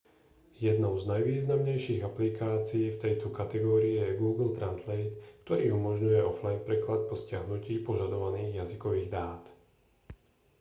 jednou z najvýznamnejších aplikácií v tejto kategórii je google translate ktorý umožňuje offline preklad po stiahnutí požadovaných jazykových dát